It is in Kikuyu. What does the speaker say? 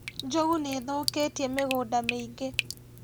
Njogu nĩithũkĩtie mĩgũnda mĩingĩ